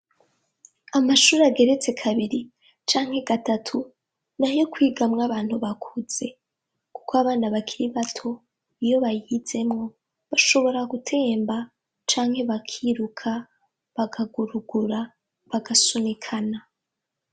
Amashure ageretse kabiri canke gatatu nayo kwigamwo abantu bafuze kuko abana bato iyo bayizemwo bashobora gutemba canke bakiruka bakagurugura bagasunikana.